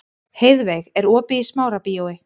Heiðveig, er opið í Smárabíói?